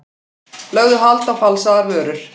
Lögðu hald á falsaðar vörur